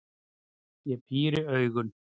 Ég píri augun.